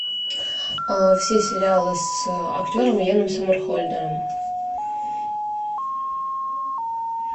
все сериалы с актером йеном сомерхолдером